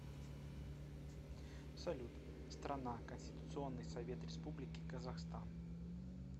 салют страна конституционный совет республики казахстан